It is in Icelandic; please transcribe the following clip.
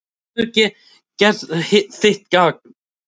Þú hefur gert þitt gagn.